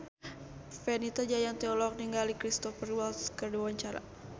Fenita Jayanti olohok ningali Cristhoper Waltz keur diwawancara